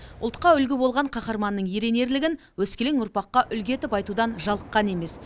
ұлтқа үлгі болған қаһарманның ерен ерлігін өскелең ұрпаққа үлгі етіп айтудан жалыққан емес